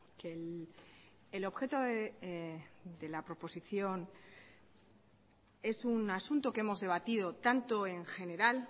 que el objeto de la proposición es un asunto que hemos debatido tanto en general